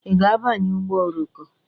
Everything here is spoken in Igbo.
I ga-abanye ụgbọ oroko?